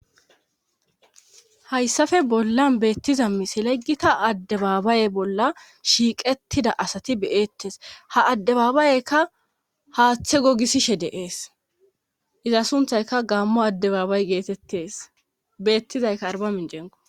hayssafe bollan beettiza miselegita addebaabaye bolla shiiqettida asati beettes ha addebaabaayeykka haaththe gogisishe deees iza sunthayka gaammo addebaabay geetettes beettizayka arbamincenqo